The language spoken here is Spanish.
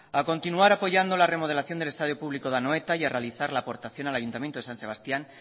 a continuar apoyando la remodelación del estadio público de anoeta y a realizar la aportación al ayuntamiento de san sebastián